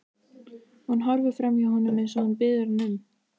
Hún horfir framhjá honum eins og hann biður hana um.